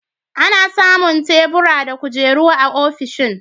Ana samun tebura da kujeru a ofishin.